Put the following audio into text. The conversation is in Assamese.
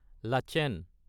লাচেন